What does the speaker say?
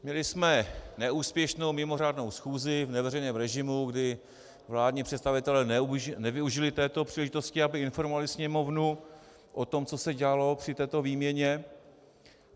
Měli jsme neúspěšnou mimořádnou schůzi v neveřejném režimu, kdy vládní představitelé nevyužili této příležitosti, aby informovali Sněmovnu o tom, co se dělalo při této výměně.